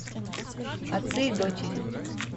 отцы и дочери